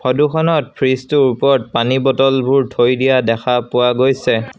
ফটোখনত ফ্ৰিজটোৰ ওপৰত পানী বটলবোৰ থৈ দিয়া দেখা পোৱা গৈছে।